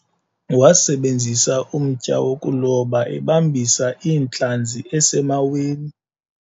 wasebenzisa umtya wokuloba ebambisa iintlanzi esemaweni